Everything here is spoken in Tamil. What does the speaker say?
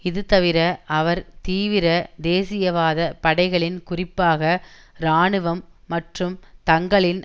இதுதவிர அவர் தீவிர தேசியவாத படைகளின் குறிப்பாக இராணுவம் மற்றும் தங்களின்